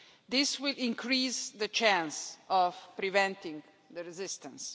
This will increase the chance of preventing resistance.